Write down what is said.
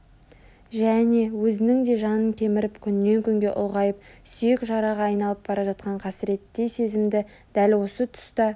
және өзінің де жанын кеміріп күннен күнге ұлғайып сүйек жараға айналып бара жатқан қасіреттей сезімді дәл осы тұста